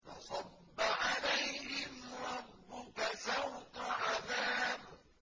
فَصَبَّ عَلَيْهِمْ رَبُّكَ سَوْطَ عَذَابٍ